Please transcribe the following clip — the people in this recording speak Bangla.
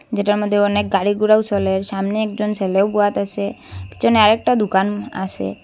যেটার মধ্যে অনেক গাড়িঘোরাও চলে সামনে একজন ছেলেও বোয়াত আসে পিছনে আর একটা দোকান আসে ।